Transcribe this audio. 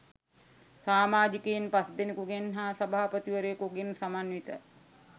සාමාජිකයින් පස්දෙනෙකුගෙන් හා සභාපතිවරයකුගෙන් සමන්විත